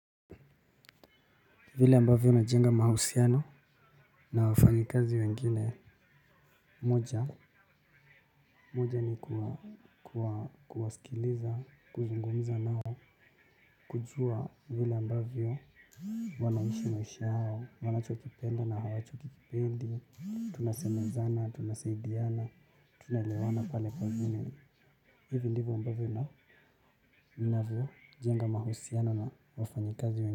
Vile ambavyo najenga mahusiano na wafanyikazi wengine. Moja, moja ni kuwa kuwasikiliza, kuzungumza nao, kujua vile ambavyo wanaishi maisha yao, wanachokipenda na hawachokipendi. Tunasemezana, tunasaidiana, tunaelewana pale pale kazini. Hivi ndivyo ambavyo na ninavyo jenga mahusiano na wafanyikazi.